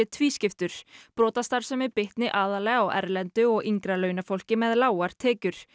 tvískiptur brotastarfsemi bitni aðallega á erlendu og yngra launafólki með lágar tekjur